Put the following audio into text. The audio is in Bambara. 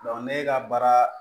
ne ka baara